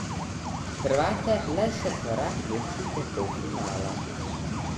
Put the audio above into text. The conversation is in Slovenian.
Hrvate le še korak loči do polfinala.